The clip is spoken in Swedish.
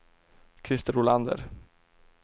Christer Olander